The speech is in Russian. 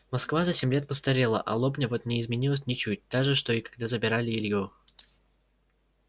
москва за семь лет постарела а лобня вот не изменилась ничуть та же что и когда забирали илью